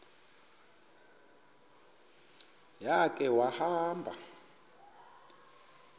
ya khe wahamba